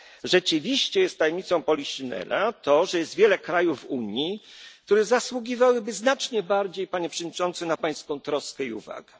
Rzeczywiście jest tajemnicą poliszynela to, że jest wiele krajów w Unii, które zasługiwałby znacznie bardziej, panie przewodniczący, na pańską troskę i